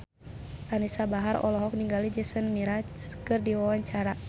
Anisa Bahar olohok ningali Jason Mraz keur diwawancara